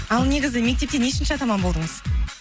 ал негізі мектепте нешінші атаман болдыңыз